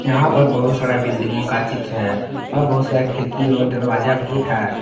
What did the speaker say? यहां पर बहुत सारे बिल्डिंगों का चित्र है और बहुत सारा खिड़की और दरवाजा भी है।